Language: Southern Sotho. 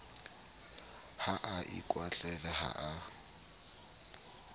ha a ikwahlahe ha a